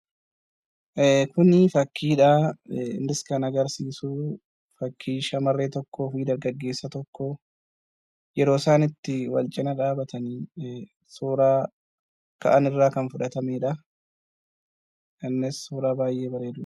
Kuni fakkiidha. Innis kan agarsiisu fakkii shamarree tokkoo fi dhiira gaggeessu tokko yeroo isaan itti wal cina dhaabatanii suuraa ka'an irraa kan fudhatamedha. Innis suuraa baay'ee bareedudha.